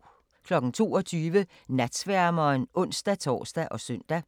22:00: Natsværmeren (ons-tor og søn)